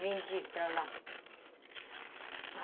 Vendi para lá.